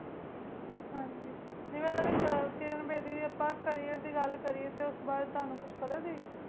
ਹਾਂਜੀ ਜੀ ਕਿਰਣ ਬੇਦੀ ਦੇ ਆਪਾਂ ਕੈਰਿਏਰ ਦੇ ਗਲ ਕਰੀਏ ਟੀ ਓਸ ਬਰੀ ਤ੍ਵਾਨੁ ਕੁਛ ਪਤਾ ਜੀ